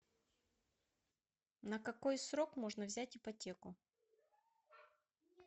на какой срок можно взять ипотеку